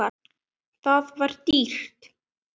Það var dýrt.